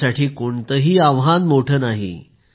त्यांच्यासाठी कोणतंही आव्हान मोठं नाही